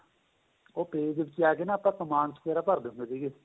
ਉਹ page ਵਿੱਚ ਜਾਕੇ ਆਪਾਂ command ਵਗੇਰਾ ਭਰ ਦਿੰਦੇ ਸੀਗੇ